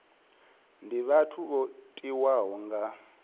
ndi vhathu vho tiwaho nga